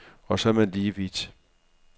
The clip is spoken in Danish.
Og så er man lige vidt.